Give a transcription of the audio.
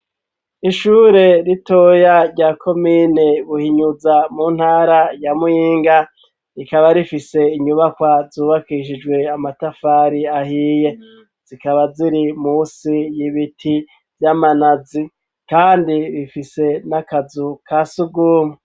Ishure ritoya rya komine buhinyuza mu ntara ya Muyinga rikaba rifise inyubakwa zubakishijwe amatafari ahiye zikaba ziri musi y'ibiti vy'amanazi kandi rifise n'akazu ka sugumwe.